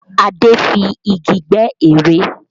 Adé fi igi gbẹ́ ère